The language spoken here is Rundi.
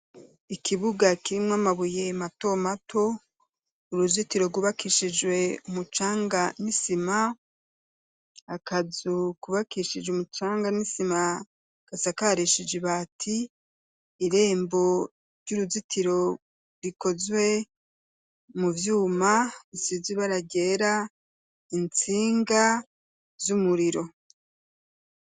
Ikibuga, kirimwo amabuye mato mato, uruzitiro rwubakishijwe umucanga n'isima, akazu kubakishije umucanga n'isima, gasakarishije ibati; irembo ry'uruzitiro, rikozwe mu vyuma, bisize ibara ryera, intsinga z'umuriro.